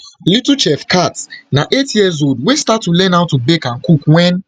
little chef khat na eightyearsold wey start to learn how to bake and cook wen